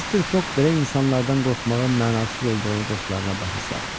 Mister Foq belə insanlardan qorxmağın mənasız olduğunu dostlarına başa saldı.